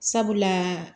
Sabula